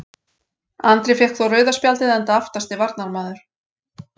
Andri fékk þó rauða spjaldið enda aftasti varnarmaður.